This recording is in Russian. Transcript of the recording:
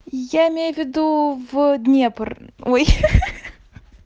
я имею в виду в днепр ой ха-ха